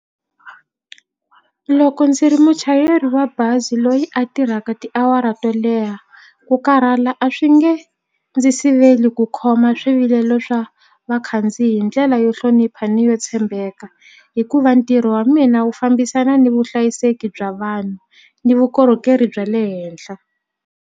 Loko ndzi ri muchayeri wa bazi loyi a tirhaka tiawara to leha ku karhala a swi nge ndzi siveli ku khoma swivilelo swa vakhandziyi hi ndlela yo hlonipha ni yo tshembeka hikuva ntirho wa mina wu fambisana ni vuhlayiseki bya vanhu ni vukorhokeri bya le henhla.